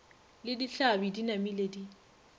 le ditlhabi di namile di